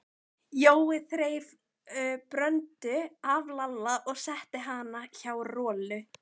Jói þreif Bröndu af Lalla og setti hana hjá Rolu.